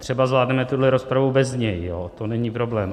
Třeba zvládneme tuhle rozpravu bez něj, to není problém.